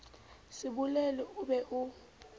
se bolele o be o